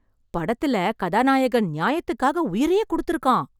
படத்துல கதாநாயகன் நியாயத்துக்காக உயிரையே கொடுத்திருக்கான்